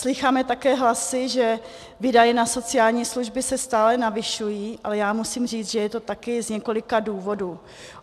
Slýcháme také hlasy, že výdaje na sociální služby se stále navyšují, ale já musím říct, že je to také z několika důvodů.